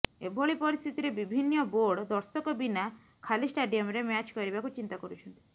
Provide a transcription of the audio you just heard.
ଏଭଳି ପରିସ୍ଥିତିରେ ବିଭିନ୍ନ ବୋର୍ଡ ଦର୍ଶକ ବିନା ଖାଲି ଷ୍ଟାଡିୟମରେ ମ୍ୟାଚ୍ କରିବାକୁ ଚିନ୍ତା କରୁଛନ୍ତି